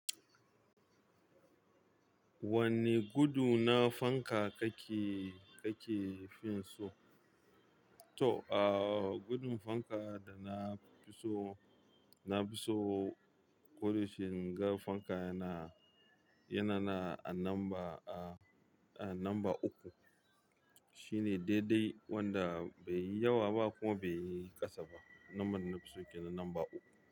Wanne gudu na fanka kake, kake fin so? To ah gudin fanka dana fiso, nafi so koda yaushe inga fanka yana, yana a namba uku shine dede wanda baiyi yawa ba kuma baiyi kasa ba. Naban dana fi so kenan namba uku.